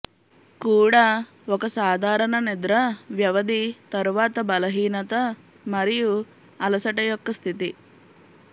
కూడా ఒక సాధారణ నిద్ర వ్యవధి తరువాత బలహీనత మరియు అలసట యొక్క స్థితి